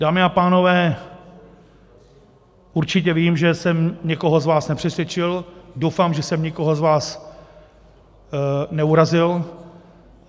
Dámy a pánové, určitě vím, že jsem někoho z vás nepřesvědčil, doufám, že jsem nikoho z vás neurazil.